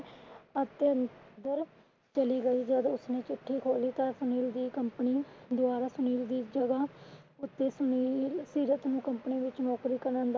ਅੰਦਰ ਚਲੀ ਗਈ। ਜਦ ਉਸਨੇ ਚਿੱਠੀ ਖੋਲੀ ਤਾਂ ਸੁਨੀਲ ਦੀ company ਦੁਆਰਾ ਸੁਨੀਲ ਦੀ ਜਗਹ ਉੱਥੇ ਸੁਨੀਲ ਸੀਰਤ ਨੂੰ company ਵਿੱਚ ਨੌਕਰੀ ਕਰਨ ਦਾ